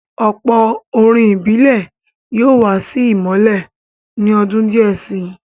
Ọ̀pọ̀ orin ìbílẹ̀ yóò wà sí ìmọ́lẹ̀ ní ọdún díẹ̀ si.